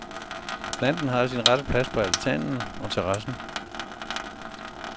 Planten har sin rette plads på altanen og terrassen.